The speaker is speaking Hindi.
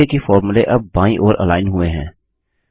देखिए कि फोर्मुले अब बाईं ओर अलाइन हुए हैं